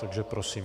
Takže prosím.